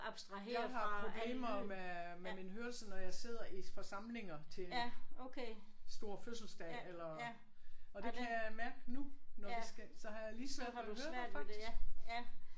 Jeg har problemer med med min hørelse når jeg sidder i forsamlinger til store fødselsdage eller og det kan jeg mærke nu når vi skal så har jeg lige svært ved at høre faktisk